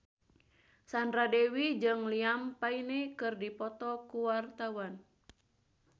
Sandra Dewi jeung Liam Payne keur dipoto ku wartawan